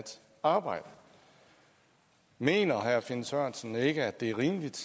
arbejde mener herre finn sørensen ikke at det er rimeligt